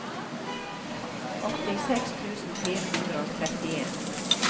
åttiseks tusen fire hundre og trettien